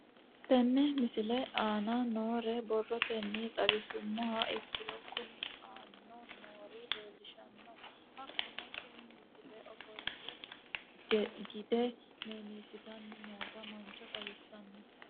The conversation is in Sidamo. Tenne misile aana noore borrotenni xawisummoha ikirro kunni aane noore leelishano. Hakunno tinni misile ofolte gidde meemisitanni noota mancho xawissanno.